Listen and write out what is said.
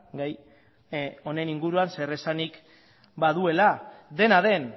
gai honen inguruan zeresanik baduela dena den